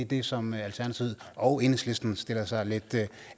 det som alternativet og enhedslisten stiller sig lidt